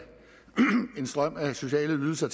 en strøm af sociale ydelser